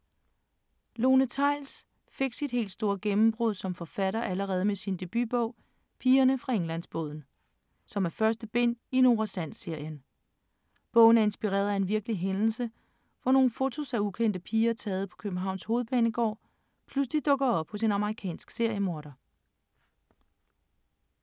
Lone Theils fik sit helt store gennembrud som forfatter allerede med sin debutbog Pigerne fra Englandsbåden, som er første bind i Nora Sand-serien. Bogen er inspireret af en virkelig hændelse, hvor nogle fotos af ukendte piger, taget på Københavns Hovedbanegård, pludselig dukker op hos en amerikansk seriemorder.